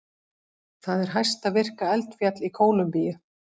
Það er hæsta virka eldfjall í Kólumbíu.